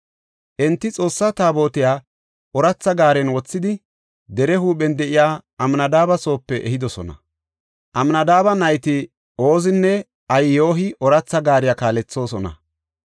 Enti Xoossa Taabotiya ooratha gaaren wothidi, dere huuphen de7iya Amnadaabe soope ehidosona. Amnadaabe nayti Oozinne Ahiyoy ooratha gaariya kaalethoosona.